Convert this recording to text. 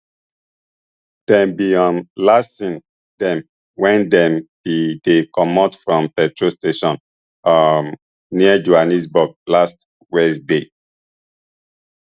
dem bin um last see dem wen dem bin dey comot from petrol station um near johannesburg last wednesday